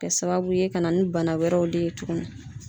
Kɛ sababu ye ka na ni bana wɛrɛw de ye tuguni.